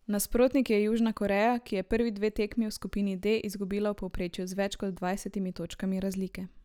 Nasprotnik je Južna Koreja, ki je prvi dve tekmi v skupini D izgubila v povprečju z več kot dvajsetimi točkami razlike.